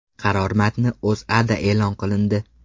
Qaror matni O‘zAda e’lon qilindi .